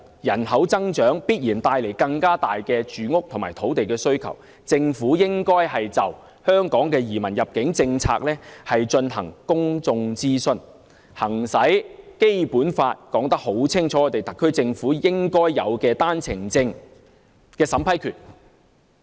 人口增長必然會帶來更大的住屋和土地需求，政府應該就香港移民入境政策進行公眾諮詢，行使《基本法》內清楚說明的特區政府應有的單程證審批權。